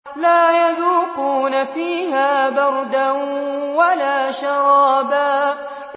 لَّا يَذُوقُونَ فِيهَا بَرْدًا وَلَا شَرَابًا